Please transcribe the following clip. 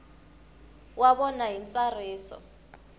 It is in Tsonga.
wa vona hi ntsariso wa